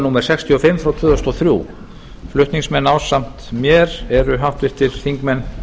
númer sextíu og fimm tvö þúsund og þrjú flutningsmenn ásamt mér eru háttvirtir þingmenn